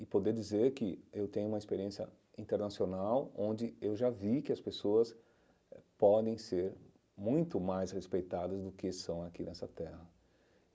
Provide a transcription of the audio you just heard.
e poder dizer que eu tenho uma experiência internacional onde eu já vi que as pessoas podem ser muito mais respeitadas do que são aqui nessa terra.